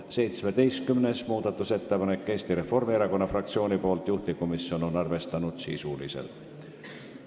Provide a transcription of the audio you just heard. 17. muudatusettepanek on Eesti Reformierakonna fraktsioonilt, juhtivkomisjon on arvestanud sisuliselt.